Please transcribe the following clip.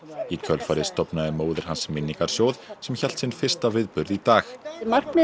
í kjölfarið stofnaði móðir hans minningarsjóð sem hélt sinn fyrsta viðburð í dag markmið